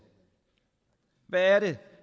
hvad er det